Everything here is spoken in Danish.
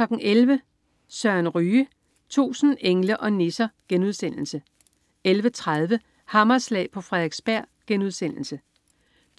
11.00 Søren Ryge. 1000 engle og nisser* 11.30 Hammerslag på Frederiksberg*